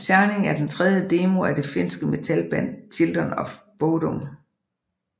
Shining er den tredje demo af det finske metalband Children of Bodom